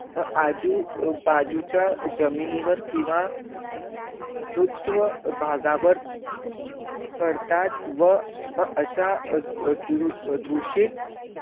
आजू बाजू चा जमिनी वर किंवा, ऋत्व भागावर पडतात व अशा दूषित